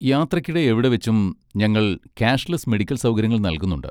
യാത്രയ്ക്കിടെ എവിടെവെച്ചും ഞങ്ങൾ ക്യാഷ്ലെസ്സ് മെഡിക്കൽ സൗകര്യങ്ങൾ നൽകുന്നുണ്ട്.